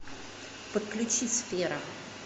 подключи сфера